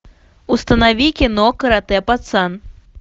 установи кино каратэ пацан